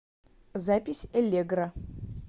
запись элегра